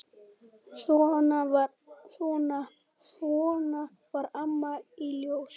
Svona var Amma í Ljós.